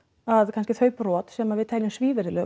að kannski þau brot sem við teljum